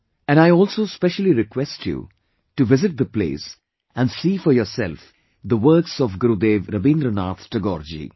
And I also specially request you to visit the place and see for yourself the works of Gurudev Rabindranath Tagore ji